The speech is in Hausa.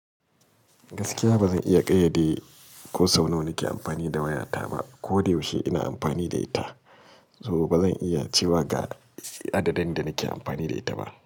Gaskiya ba zan iya ƙayyade ko sau nawa nake amfani da wayata ba ko da yaushe ina amfani da ita saboda ba zan iya cewa ga adadin da nake amfani da ita ba.